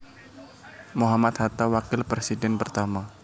Mohammad Hatta Wakil Presiden pertama